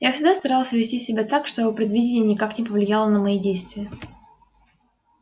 я всегда старался вести себя так чтобы предвидение никак не повлияло на мои действия